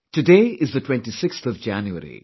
Today is the 26th of January